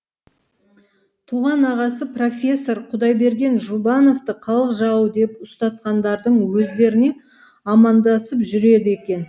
туған ағасы профессор құдайберген жұбановты халық жауы деп ұстатқандардың өздеріне амандасып жүреді екен